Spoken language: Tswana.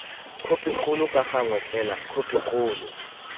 khopikgolo ka gangwe fela khopikgolo